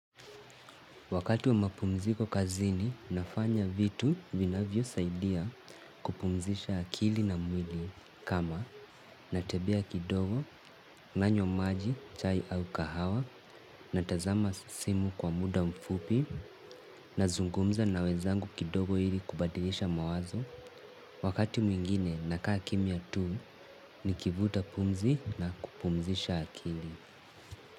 Wakati wa mapumziko kazini nafanya vitu vinavyosaidia kupumzisha akili na mwili kama natembea kidogo nanywa maji chai au kahawa natazama simu kwa muda mfupi nazungumza na wenzangu kidogo ili kubadilisha mawazo. Wakati mwingine nakaa kimya tuu nikivuta pumzi na kupumzisha akili.